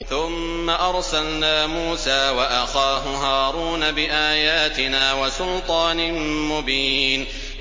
ثُمَّ أَرْسَلْنَا مُوسَىٰ وَأَخَاهُ هَارُونَ بِآيَاتِنَا وَسُلْطَانٍ مُّبِينٍ